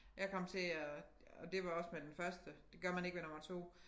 Jeg kom til at og det var også med den første det gør man ikke med nummer 2